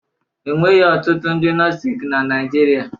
Enweghị ọtụtụ ndị nostic na Naịjirịa